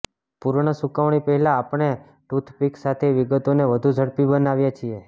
પૂર્ણ સૂકવણી પહેલાં આપણે ટૂથપીક્સ સાથે વિગતોને વધુ ઝડપી બનાવીએ છીએ